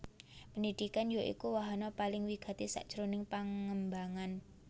Pendhidhikan ya iku wahana paling wigati sajroning pangembangan